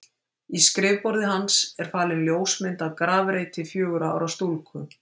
í skrifborði hans er falin ljósmynd af grafreiti fjögurra ára stúlku